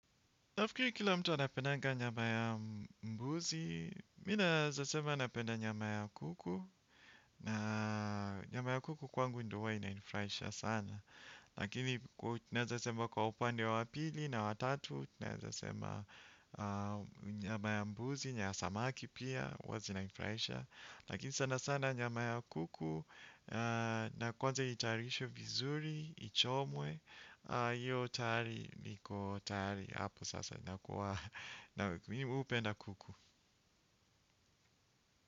Nafukiri kila mtu anapendanga nyama ya mbuzi, mi naeza sema napenda nyama ya kuku, na nyama ya kuku kwangu ndo huwa inanifraisha sana. Lakini kwa naeza sema kwa upande wa pili na wa tatu, naeza sema nyama ya mbuzi, nyama ya samaki pia, huwa zinanifraisha. Lakini sana sana nyama ya kuku na kwanze itayarishwe vizuri, ichomwe. Hiyo tayari niko tayari hapo sasa inakuwa Mimi hupenda kuku.